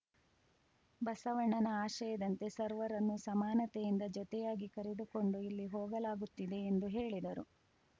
ಬಸವಣ್ಣನ ಆಶಯದಂತೆ ಸರ್ವರನ್ನೂ ಸಮಾನತೆಯಿಂದ ಜೊತೆಯಾಗಿ ಕರೆದುಕೊಂಡು ಇಲ್ಲಿ ಹೋಗಲಾಗುತ್ತಿದೆ ಎಂದು ಹೇಳಿದರು